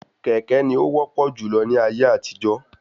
Kékè ní o wọ́pọ̀ júlọ ní ayé àtijó